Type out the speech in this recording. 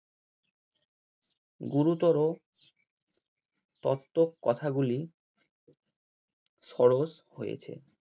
গুরুত্বর তত্ত্বকে কথা গুলি সরস হয়েছে।